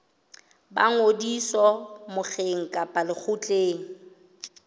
ba ngodiso mokgeng kapa lekgotleng